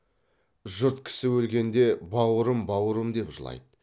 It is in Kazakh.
жұрт кісі өлгенде бауырым бауырым деп жылайды